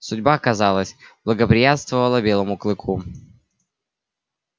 судьба казалось благоприятствовала белому клыку